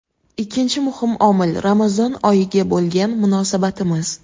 Ikkinchi muhim omil Ramazon oyiga bo‘lgan munosabatimiz.